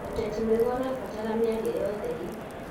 ũteti mwega ũrabatara mĩari ya ũtheri.